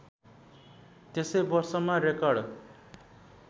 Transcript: त्यसै वर्षमा रेकर्ड